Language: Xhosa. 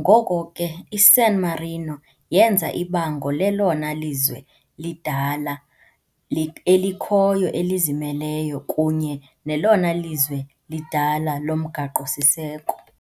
ngoko ke, iSan Marino yenza ibango lelona lizwe lidala li elikhoyo elizimeleyo, kunye nelona lizwe lidala lomgaqo-siseko.